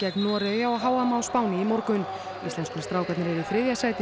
Noregi á h m á Spáni í morgun íslensku strákarnir eru í þriðja sæti í